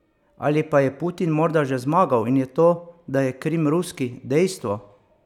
Ali pa je Putin morda že zmagal in je to, da je Krim ruski, dejstvo?